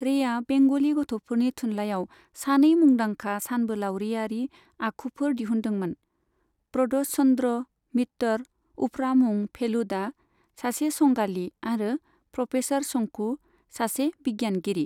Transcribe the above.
रेया बेंगलि गथ'फोरनि थुनलायाव सानै मुंदांखा सानबोलावरियारि आखुफोर दिहुनदोंमोन, प्रदष चन्द्र मित्तर उफ्रा मुं फेलुदा, सासे संगालि, आरो प्र'फेसार शंकु, सासे बिगियानगिरि।